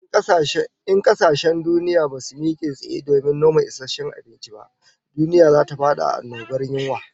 In kasashen duniya basu mike tsaye domin noma isasshen abinci ba, duniya zata fada annobar yunwa